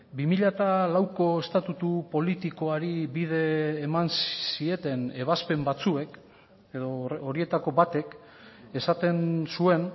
bi mila lauko estatutu politikoari bide eman zieten ebazpen batzuek edo horietako batek esaten zuen